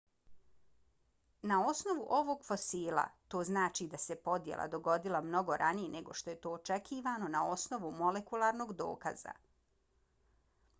na osnovu ovog fosila to znači da se podjela dogodila mnogo ranije nego što je to očekivano na osnovu molekularnog dokaza.